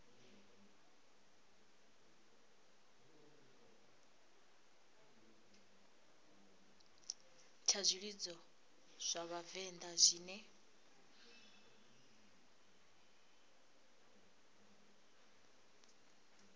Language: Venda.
tsha zwilidzo zwa vhavenḓa zwine